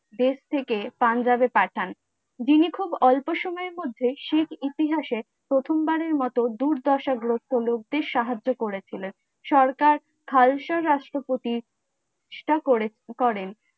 দেশ থেকে পাঞ্জাবে পাঠান যিনি খুব অল্পসময়ের মধ্যে সিং ইতিহাসে প্রথমবারের মতো দুর্দশাগ্রস্ত লোকদের সাহায্য করেছিলেন সরকার খালসা রাষ্ট্রপতি প্রতিষ্ঠা করে করেন